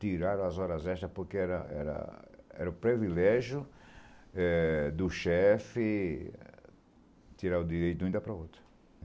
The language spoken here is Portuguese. Tiraram as horas extra porque era era era o privilégio eh do chefe tirar o direito de um e dar para o outro.